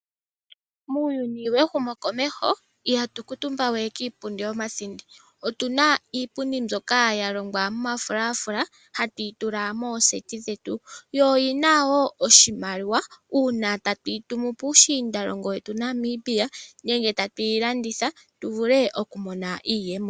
Muuyuni wehumokomeho, ihatu kuutumba we kiipundi yomathindi. Otuna iipundi mbyoka ya longwa momafulafula, hatu yi tula mooseti dhetu. Oyina wo oshimaliwa uuna tatuyi tumu puushiindalongo wetu Namibia, nenge tatuyi landitha tu vule okumona iiyemo.